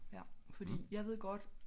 Ja fordi jeg ved godt